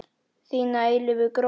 Þín að eilífu, Gróa.